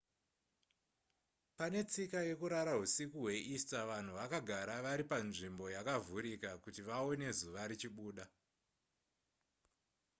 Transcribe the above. pane tsika yekurara husiku hweeaster vanhu vakagara vari panzvimbo yakavhurika kuti vaone zuva richibuda